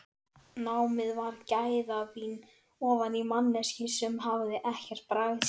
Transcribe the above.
Námið var gæðavín ofan í manneskju sem hafði ekkert bragðskyn.